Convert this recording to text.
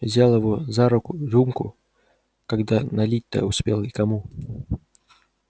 взял его за руку рюмку когда налить-то успел и кому